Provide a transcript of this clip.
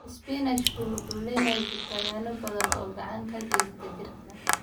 Isbaanishku wuxuu leeyahay fitamiino badan oo gacan ka geysata jirka.